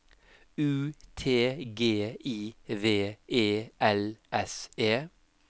U T G I V E L S E